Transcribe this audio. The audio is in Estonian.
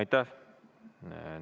Aitäh!